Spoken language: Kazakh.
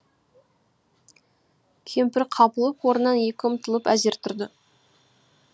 кемпір қапылып орнынан екі ұмтылып әзер тұрды